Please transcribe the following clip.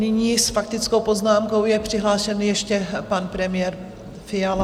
Nyní s faktickou poznámkou je přihlášen ještě pan premiér Fiala.